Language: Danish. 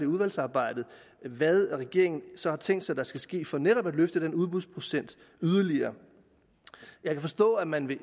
udvalgsarbejdet hvad regeringen så har tænkt sig der skal ske for netop at løfte den udbudsprocent yderligere jeg kan forstå at man